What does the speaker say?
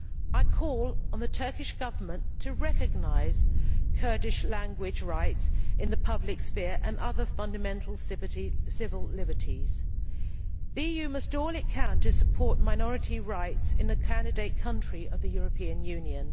I call on the Turkish Government to recognise Kurdish language rights in the public sphere and other fundamental civil liberties. The EU must do all it can to support minority rights in a candidate country of the European Union.